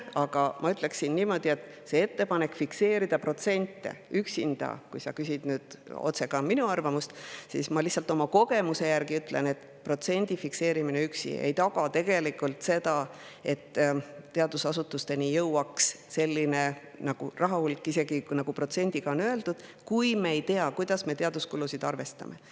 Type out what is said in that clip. Aga ma ütlen, et see ettepanek fikseerida protsent – kui sa küsid ka minu arvamust, siis ma lihtsalt ütlen oma kogemuse järgi – ja protsendi fikseerimine üksi ei taga tegelikult seda, et teadusasutusteni selline rahahulk jõuab, kui me ei tea, kuidas me teaduskulusid arvestame.